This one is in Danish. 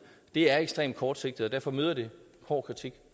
det er ekstremt kortsigtet og derfor møder det hård kritik